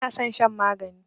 Bana san shan magani